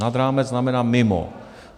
Nad rámec znamená mimo.